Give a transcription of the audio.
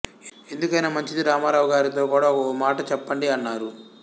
ఎందుకైనా మంచిది రామారావు గారితో కూడా ఓ మాట చెప్పండి అన్నారు